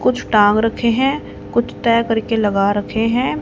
कुछ टांग रखे हैं कुछ तह करके लगा रखे हैं।